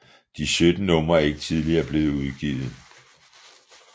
De 17 numre er ikke tidligere blevet udgivet